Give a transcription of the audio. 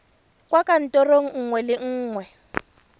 kwa kantorong nngwe le nngwe